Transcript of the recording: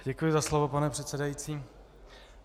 Děkuji za slovo, pane předsedající.